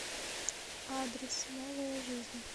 адрес новая жизнь